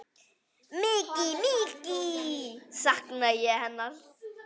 Mikið, mikið sakna ég hennar.